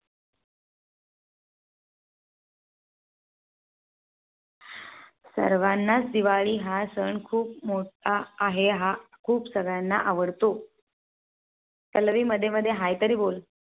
सर्वांना दिवाळी हा सण खुप मोठा आहे हा खूप सगळ्यांना आवडतो. पल्लवी मध्ये मध्ये Hi तरी बोल